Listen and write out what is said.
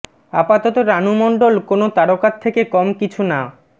আপাতত রাণু মণ্ডল কোনও তারকার থেকে কম কিছু না